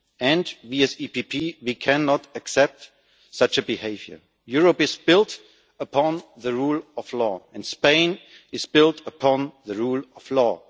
We as the EPP, cannot accept such a behaviour. Europe is built upon the rule of law and Spain is built upon the rule of law.